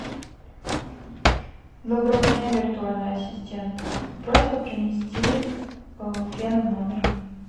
доброго дня виртуальный ассистент просьба принести фен в номер